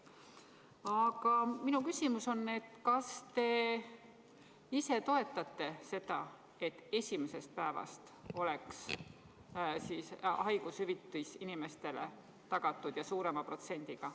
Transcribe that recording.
Aga minu küsimus on, et kas te ise toetate seda, et esimesest päevast oleks haigushüvitis inimestele tagatud ja suurema protsendiga.